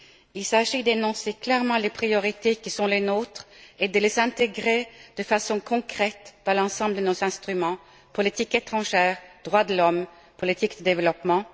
Il s'agit d'énoncer clairement les priorités qui sont les nôtres et de les intégrer de façon concrète dans l'ensemble de nos instruments politique étrangère, droits de l'homme et politique du développement.